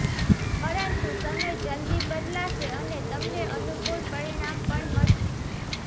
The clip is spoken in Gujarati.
પરંતુ સમય જલ્દી બદલાશે અને તમને અનુકૂળ પરિણામ પણ મળશે